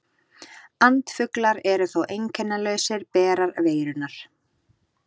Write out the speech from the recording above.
Andfuglar eru þó einkennalausir berar veirunnar.